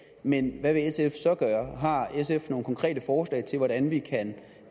men hvad vil sf så gøre har sf nogle konkrete forslag til hvordan vi kan